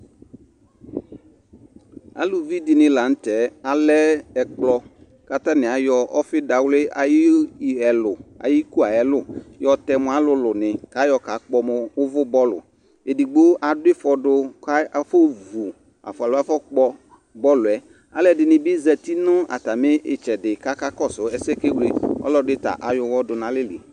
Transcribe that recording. aluvi di ni lantɛ alɛ ɛkplɔ k'atani ayɔ ɔfi dawli ayi ɛlu ayi iko ayi ɛlu yɔ tɛ mo alòlò ni k'ayɔ ka kpɔ mo uvò bɔlu edigbo adu ifɔ do k'afɔ vu alò afɔ kpɔ bɔlu yɛ alò ɛdini bi zati n'atami itsɛdi k'aka kɔsu ɛsɛ k'ake wle ɔlò ɛdi ta ayɔ uwɔ do n'alɛ li